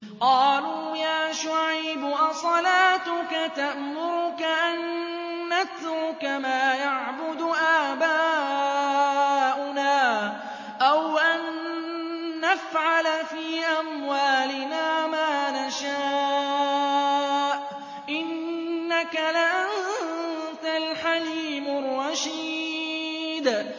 قَالُوا يَا شُعَيْبُ أَصَلَاتُكَ تَأْمُرُكَ أَن نَّتْرُكَ مَا يَعْبُدُ آبَاؤُنَا أَوْ أَن نَّفْعَلَ فِي أَمْوَالِنَا مَا نَشَاءُ ۖ إِنَّكَ لَأَنتَ الْحَلِيمُ الرَّشِيدُ